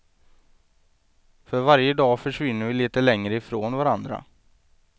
För varje dag försvinner vi lite längre ifrån varandra.